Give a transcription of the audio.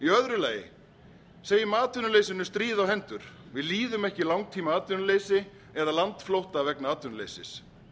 í öðru lagi segjum atvinnuleysinu stríð á hendur við líðum ekki langtímaatvinnuleysi eða landflótta vegna atvinnuleysis